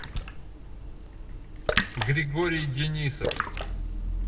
григорий денисов